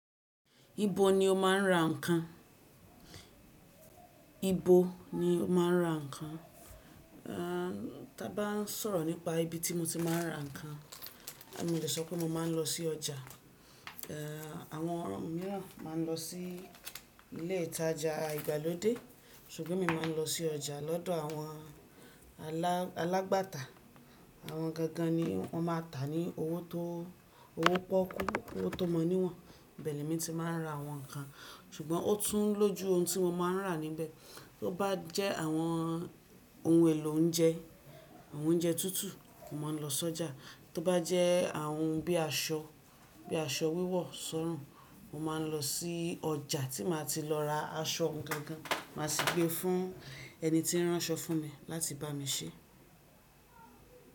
Ibo ni o máa ń ra ǹkan? Ibo ni mo máa ń ra ǹkan? Tábá ń sọ̀rọ̀ nípa ibi tí mo ti máa ń ra ǹkan. Èmi ò lè sọ pé mo máa ń lọ sí ọjà. Àwọn mìíràn máa ń lọ sí ilé ìtajà ìgbàlódé, ṣùgbọ́n mí máa ń lọ sí ọjà lọ́dọ̀ àwọn alágbàtà. Àwọn gangan ni wọ́n máa ń tà ní owó tó pọ́kú, owó tó mọ níwọ̀n. Ibe le mi ti máa ń ra àwọn ǹkan, ṣùgbọ́n ó tún lójú ohun tí mo máa ń rà níbẹ̀. Tó bá jẹ́ àwọn ohun èlò oúnjẹ, àwọn oúnjẹ tútù, mo máa ń lọ sọ́jà. Tó bá jẹ́ àwọn ohun bí i aṣọ, bí i aṣọ wíwọ̀ọ̀, sọ́rùn, mo máa ń lọ sí ọjà tí màá ti lọ ra aṣọ ohun gangan, màá sì gbé e fún ẹni tí ń ránṣọ fún mi láti bá mi ṣé.